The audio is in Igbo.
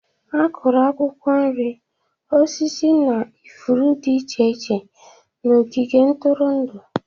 Akụru akwukwo nri, osisi na ifuru iche iche na ogige ntụrụndụ.